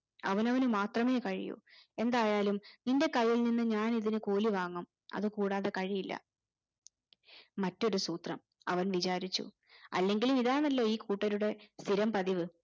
അവനവന് മാത്രമേ കഴിയൂ എന്തായാലും നിന്റെ കയ്യിൽ നിന്ന് ഞാൻ ഇതിന് കൂലി വാങ്ങും അതുകൂടാതെ കഴിയില്ല മറ്റൊരു സൂത്രം അവൻ വിചാരിച്ചു അല്ലെങ്കിലും ഇതണല്ലോ ഈ കൂട്ടരുടെ സ്ഥിരം പതിവ്